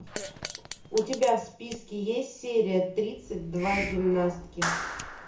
у тебя в списке есть серия тридцать два гимнастки